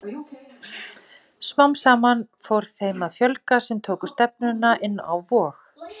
Smám saman fór þeim að fjölga sem tóku stefnuna inn á Vog.